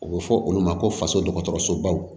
U bɛ fɔ olu ma ko faso dɔgɔtɔrɔsobaw